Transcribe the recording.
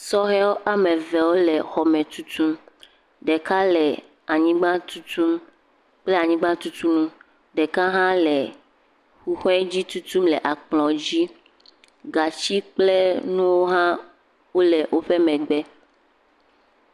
Sɔhewo ame eve wo le xɔme tutum. Ɖeka le anyigba tutum kple anyigba tutunu. Ɖeka hã le hũhɔe dzi tutum le akplɔ dzi gatsi kple nuwo hã wo le woƒe megbe.